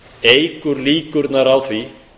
eykur líkurnar á því